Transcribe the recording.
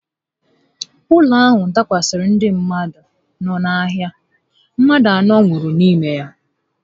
Ụlọ ahụ dakwasara ndị mmadụ no n'ahịa, mmadụ anọ n'ime ha nwụrụ